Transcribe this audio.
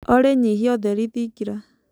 olly nyĩhĩa ũtherĩ thĩngĩra